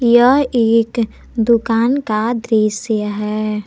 यह एक दुकान का दृश्य है।